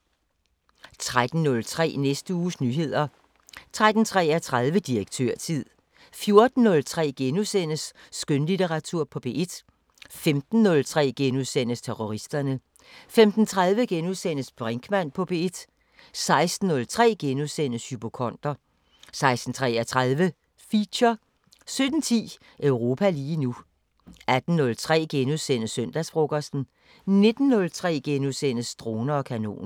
13:03: Næste uges nyheder 13:33: Direktørtid 14:03: Skønlitteratur på P1 * 15:03: Terroristerne * 15:30: Brinkmann på P1 * 16:03: Hypokonder * 16:33: Feature 17:10: Europa lige nu 18:03: Søndagsfrokosten * 19:03: Droner og kanoner *